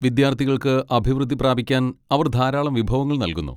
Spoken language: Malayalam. വിദ്യാർത്ഥികൾക്ക് അഭിവൃദ്ധി പ്രാപിക്കാൻ അവർ ധാരാളം വിഭവങ്ങൾ നൽകുന്നു.